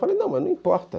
Falei, não, mas não importa.